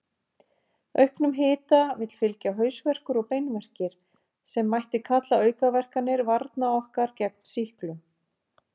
Auknum hita vill fylgja hausverkur og beinverkir, sem mætti kalla aukaverkanir varna okkar gegn sýklum.